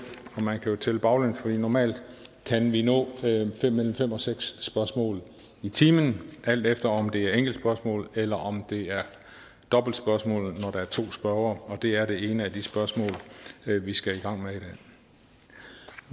og man kan jo tælle baglæns for normalt kan vi nå mellem fem og seks spørgsmål i timen alt efter om det er enkeltspørgsmål eller om det er dobbeltspørgsmål når der er to spørgere og det er det ene af de spørgsmål vi skal i gang med